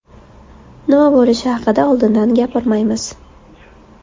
Nima bo‘lishi haqida oldindan gapirmaymiz.